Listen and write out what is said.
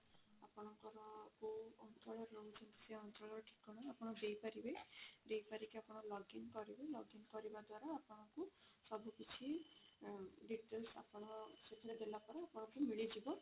ଆପଣଙ୍କର କୋଉ ଅଞ୍ଚଳରେ ରହୁଛନ୍ତି ସେଇ ଅଞ୍ଚଳର ଠିକଣା ଆପଣ ଦେଇ ପାରିବେ ଦେଇସାରିକି ଆପଣ login କରିବେ login କରିବା ଦ୍ଵାରା ଆପଣଙ୍କୁ ସବୁ କିଛି details ଆପଣ ସେଥିରେ ଦେଲା ପରେ ଆପଣଙ୍କୁ ମିଳି ଯିବ।